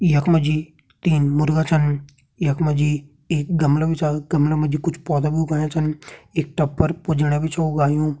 यख मा जी तीन मुर्गा छन यख मा जी एक गमला भी छा गमला मा जी कुछ पौधा भी उगायां छन एक टब पर पूजणिया भी छ उगायुं।